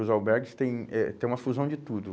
Os albergues têm eh têm uma fusão de tudo.